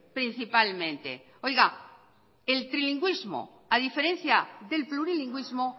principalmente oiga el trilingüismo a diferencia del plurilingüismo